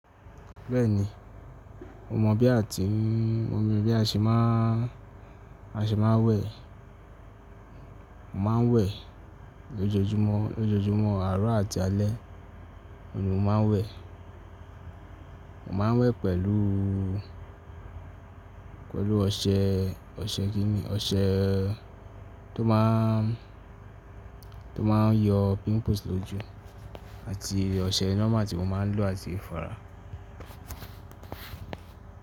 Bẹ́ẹ̀ni, mo mọ̀ bí a ti ń, mo mọ bí a ṣe má ń, a ṣe má ń wẹ̀, mo má ń wẹ̀ lójoojúmọ́, lójoojúmọ́ àárọ̀ àti alẹ́ ni mo má ń wẹ̀. Mo má ń wẹ̀ pẹ̀lú, pẹ̀lú ọṣẹ, ọṣẹ kí ni, ọṣẹ tó má ń, tó má ń yọ pimples lójú àti ọṣẹ normal tí mo má ń lò àti ifara.